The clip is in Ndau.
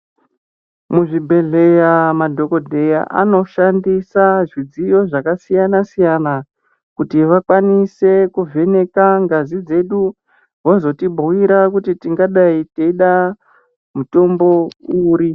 Muzvibhedhleya madhokodheya anoshandisa zvidziyo zvakasiyana-siyana, kuti vakwanise kuvheneka ngazi dzedu ,vozotibhuira kuti tingadai teida mutombo uri.